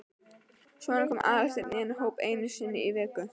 Svo kom Aðalsteinn í þennan hóp einu sinni í viku.